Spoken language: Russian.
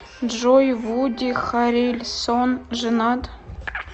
джой вуди харрельсон женат